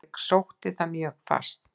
Ég sótti það mjög fast.